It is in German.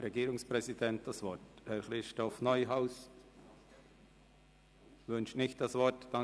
– Regierungspräsident Neuhaus wünscht das Wort auch nicht.